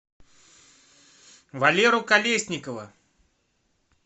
валеру колесникова